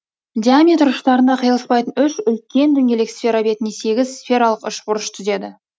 диаметр ұштарында қиылыспайтын үш үлкен дөңгелек сфера бетінде сегіз сфералық үшбұрыш түзеді